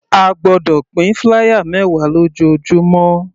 A gbọ́dọ̀ pín flier mẹwa lójoojúmọ́.